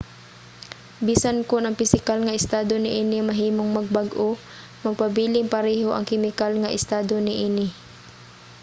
bisan kon ang pisikal nga estado niini mahimong magbag-o magpabiling pareho ang kemikal nga estado niini